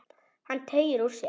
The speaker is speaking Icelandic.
Hann teygir úr sér.